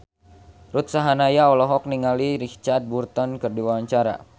Ruth Sahanaya olohok ningali Richard Burton keur diwawancara